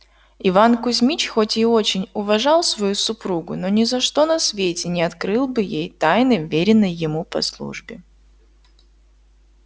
иван кузмич хоть и очень уважал свою супругу но ни за что на свете не открыл бы ей тайны вверенной ему по службе